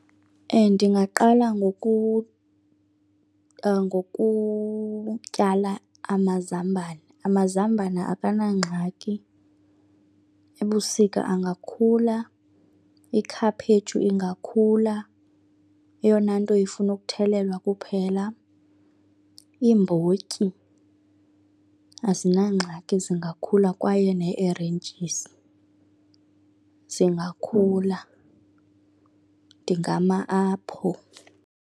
Ndingaqala ngokutyala amazambane. Amazambane akanangxaki, ebusika angakhula, ikhaphetshu ingakhula, eyona nto ifuna ukuthelelwa kuphela. Iimbotyi azinangxaki zingakhula kwaye nee-erentyisi zingakhula, ndingama apho.